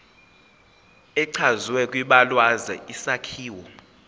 echazwe kwibalazwe isakhiwo